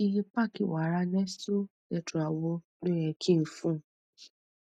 iye pack wàrà nestle tetra wo lo yẹ kí n fún